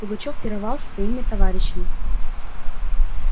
пугачёв пировал со своими товарищами